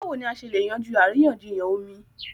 Báwo ni a ṣe lè yanjú àríyànjiyàn omi?